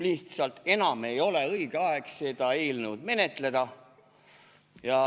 Lihtsalt enam ei ole õige aeg seda eelnõu menetleda.